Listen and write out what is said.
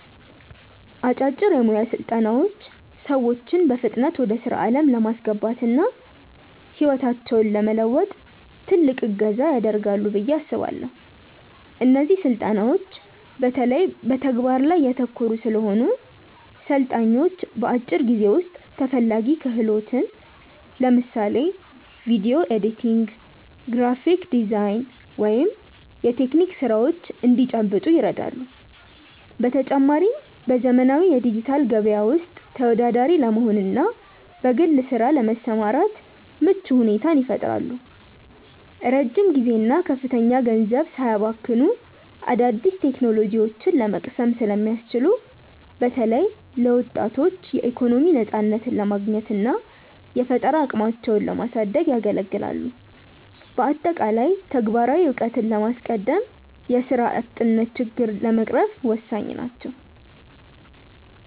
አጫጭር የሞያ ስልጠናዎች ሰዎችን በፍጥነት ወደ ስራ ዓለም ለማስገባትና ህይወታቸውን ለመለወጥ ትልቅ እገዛ ያደርጋሉ ብዬ አስባለው። እነዚህ ስልጠናዎች በተለይ በተግባር ላይ ያተኮሩ ስለሆኑ፣ ሰልጣኞች በአጭር ጊዜ ውስጥ ተፈላጊ ክህሎትን (ለምሳሌ ቪዲዮ ኤዲቲንግ፣ የግራፊክ ዲዛይን ወይም የቴክኒክ ስራዎች) እንዲጨብጡ ይረዳሉ። በተጨማሪም፣ በዘመናዊው የዲጂታል ገበያ ውስጥ ተወዳዳሪ ለመሆንና በግል ስራ ለመሰማራት ምቹ ሁኔታን ይፈጥራሉ። ረጅም ጊዜና ከፍተኛ ገንዘብ ሳያባክኑ አዳዲስ ቴክኖሎጂዎችን ለመቅሰም ስለሚያስችሉ፣ በተለይ ለወጣቶች የኢኮኖሚ ነፃነትን ለማግኘትና የፈጠራ አቅማቸውን ለማሳደግ ያገለግላሉ። በአጠቃላይ፣ ተግባራዊ እውቀትን በማስቀደም የስራ አጥነትን ችግር ለመቅረፍ ወሳኝ ናቸው።